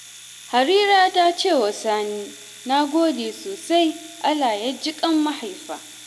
Harira ta ce wa Sani, ‘na gode sosai, Allah ya ji ƙan mahaifa’